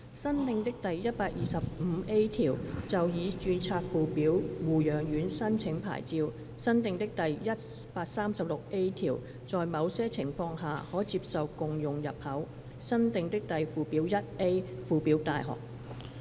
新訂的第 125A 條就已註冊附表護養院申請牌照新訂的第 136A 條在某些情況下，可接受共用入口新訂的附表 1A 附表大學。